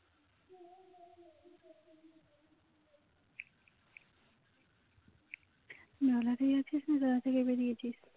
না লাগাতে যাচ্ছিস না তালা থেকে বেরিয়েছিস